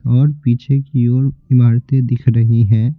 और पीछे की ओर इमारतें दिख रही हैं।